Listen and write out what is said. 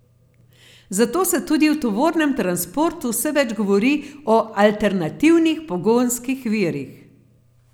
Zato se tudi v tovornem transportu vse več govori o alternativnih pogonskih virih.